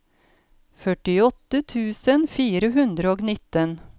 førtiåtte tusen fire hundre og nitten